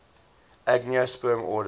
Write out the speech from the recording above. angiosperm orders